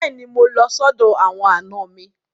Bẹ́ẹ̀ni, mo lọ sọ́dọ̀ àwọn àna mi.